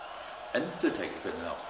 endurtæki hvernig þá